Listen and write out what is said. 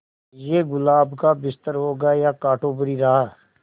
ये गुलाब का बिस्तर होगा या कांटों भरी राह